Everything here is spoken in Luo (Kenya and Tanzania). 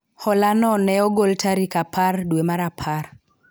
hola no ne ogol tarik apar dwe mar apar